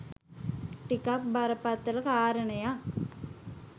ටිකක් බරපතල කාරණයක්.